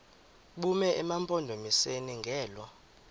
bume emampondomiseni ngelo